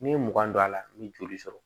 N'i ye mugan don a la n bɛ joli sɔrɔ